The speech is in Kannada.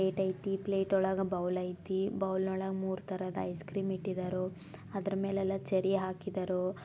ಪ್ಲೇಟ್ ಆಯ್ತಿ ಪ್ಲೇಟ್ ಒಳಗ ಬೌಲ್ ಆಯ್ತಿ ಬೌಲ್ ಒಳಗ ಮೂರೂ ತರಹದ ಐಸ್ಕ್ರೀಂ ಇಟ್ಟಿದಾರೋ ಅದರ ಮೇಲೆ ಎಲ್ಲ ಚೆರಿ ಹಾಕಿದರೋ.